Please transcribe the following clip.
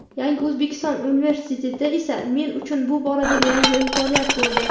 "Yangi O‘zbekiston" universiteti esa men uchun bu boradagi yangi imkoniyat bo‘ldi.